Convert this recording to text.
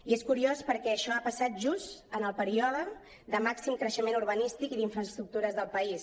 i és curiós perquè això ha passat just en el període de màxim creixement urbanístic i d’infraestructures del país